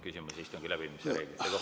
Küsimusi istungi läbiviimise reeglite kohta.